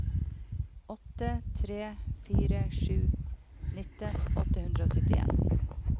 åtte tre fire sju nitten åtte hundre og syttien